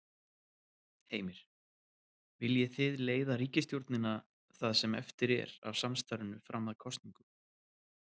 Heimir: Viljið þið leiða ríkisstjórnina það sem eftir er af samstarfinu fram að kosningum?